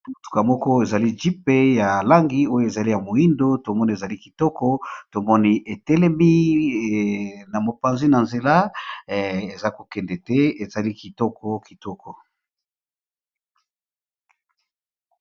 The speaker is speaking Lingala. Motuka moko ezali jeep ya langi oyo ezali ya moyindo to moni ezali kitoko tomoni e telemi na mopanzi na nzela eza ko kende te ezali kitoko kitoko .